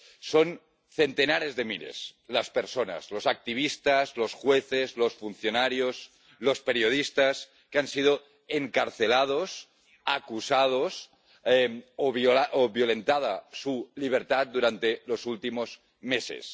Son centenares de miles las personas, los activistas, los jueces, los funcionarios, los periodistas que han sido encarcelados, acusados o que han visto violentada su libertad durante los últimos meses.